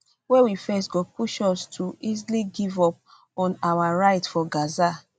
wey we face go push us to easily give up on our right for gaza